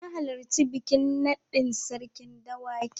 Na halarci bikin naɗin Sarkin Dawaki.